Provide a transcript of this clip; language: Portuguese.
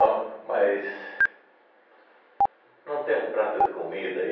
Bom, mas... Não tem um prato de comida aí?